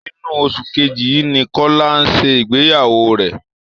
Inú oṣù kejì yìí ni Kọlá ń ṣe ìgbeyàwó rẹ